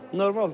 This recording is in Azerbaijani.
Normal.